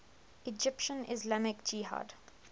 egyptian islamic jihad